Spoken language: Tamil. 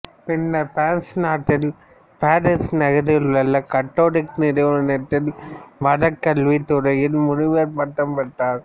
பின்னர் பிரான்சு நாட்டில் பாரிசு நகரில் உள்ள கத்தோலிக்க நிறுவனத்தில் மறைக்கல்வித் துறையில் முனைவர் பட்டம் பெற்றார்